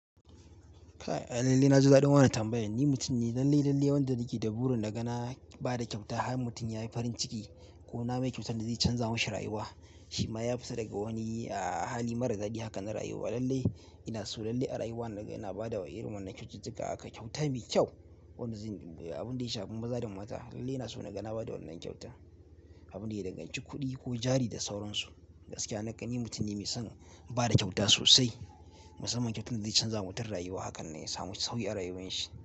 Lallai na ji daɗin wanan tambayan. Ni mutum ne lalle-lalle wanda nike da burin da na bada kyauta, har mutum yayi farin ciki ko na mai kyautan da zai canza mashi rayuwa. Shi ma ya fita daga wani hali mara daɗi haka na rayuwa. Lallai ina so lalle a rayuwa naga ina bada irin wannan kyaututtuka haka kyauta mai kyau. Wanda zai abin da ya shafi maza da mata, lallai ina so na ga na bada wannan kyauta. Abin da ya danganci kuɗi ko jari da sauransu. Gaskiya na ƙan, ni mutum ne mai son bada kyauta sosai. Musamman kyauta da zai canza ma mutum rayuwa hakan ne ya samu sauki a rayuwar shi.